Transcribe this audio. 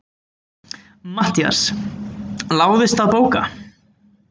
MATTHÍAS: Láðist að bóka?